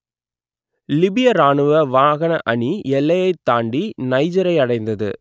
லிபிய இராணுவ வாகன அணி எல்லையைத் தாண்டி நைஜரை அடைந்தது